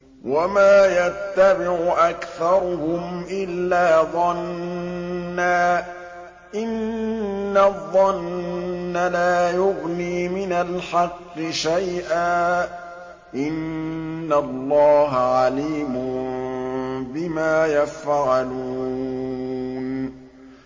وَمَا يَتَّبِعُ أَكْثَرُهُمْ إِلَّا ظَنًّا ۚ إِنَّ الظَّنَّ لَا يُغْنِي مِنَ الْحَقِّ شَيْئًا ۚ إِنَّ اللَّهَ عَلِيمٌ بِمَا يَفْعَلُونَ